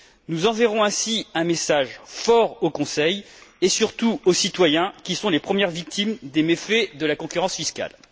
Nous enverrons ainsi un message fort au Conseil et surtout aux citoyens qui sont les premières victimes des méfaits de la concurrence fiscale.